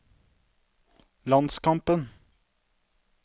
landskampen